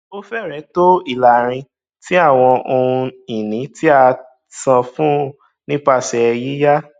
ó fẹrẹẹ tó ìlààrin tí àwọn ohunìní tí a tí a san fún nípasẹ yíyá